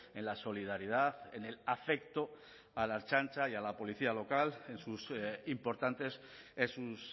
en la solidaridad en el afecto a la ertzaintza y a la policía local en sus importantes en sus